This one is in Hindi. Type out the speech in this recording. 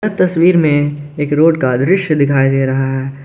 तस्वीर में एक रोड का दृश्य दिखाई दे रहा है।